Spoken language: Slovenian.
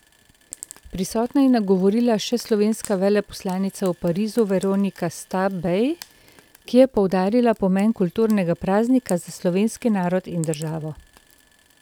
Prisotne je nagovorila še slovenska veleposlanica v Parizu Veronika Stabej, ki je poudarila pomen kulturnega praznika za slovenski narod in državo.